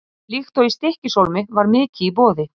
Líkt og í Stykkishólmi var mikið í boði.